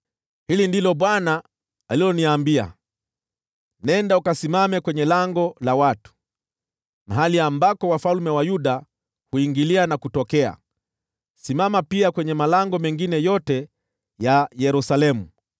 Hili ndilo Bwana aliloniambia: “Nenda ukasimame kwenye lango la watu, mahali ambako wafalme wa Yuda huingilia na kutokea, simama pia kwenye malango mengine yote ya Yerusalemu.